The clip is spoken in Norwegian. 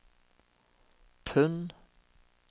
pund